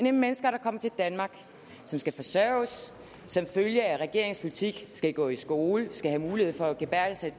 er mennesker der kommer til danmark som skal forsørges og som følge af regeringens politik gå i skole skal have mulighed for at gebærde sig i